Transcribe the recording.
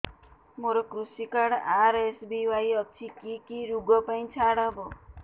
ମୋର କୃଷି card RSBY ଅଛି କି କି ଋଗ ପାଇଁ ଛାଡ଼ ହବ